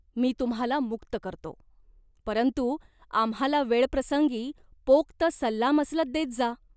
मी तुम्हाला मुक्त करतो. परंतु आम्हाला वेळप्रसंगी पोक्त सल्लामसलत देत जा.